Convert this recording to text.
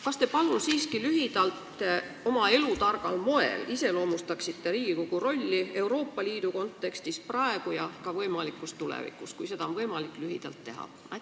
Kas te palun siiski oma elutargal moel iseloomustaksite Riigikogu rolli Euroopa Liidu kontekstis praegu ja ka tulevikus, kui seda on võimalik lühidalt teha?